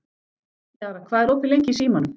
Jara, hvað er opið lengi í Símanum?